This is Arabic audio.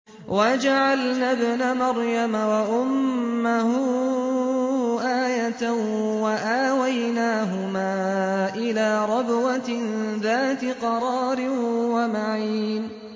وَجَعَلْنَا ابْنَ مَرْيَمَ وَأُمَّهُ آيَةً وَآوَيْنَاهُمَا إِلَىٰ رَبْوَةٍ ذَاتِ قَرَارٍ وَمَعِينٍ